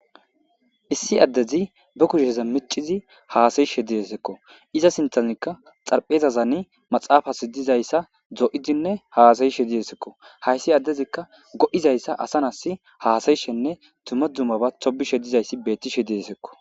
issi addezi ba kusheza micizi haasayishe diyesekko iza sintanikka xarphezazani maxaafas dizayssa do7idinne haasayishe diyesekko hayssi addezikka go7izayssa asanasi haasayishenne tuma dumaba tobishe dizayssi bettishe diesekko